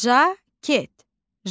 Jaket.